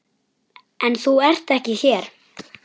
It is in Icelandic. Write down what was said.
En þú ert ekki hér.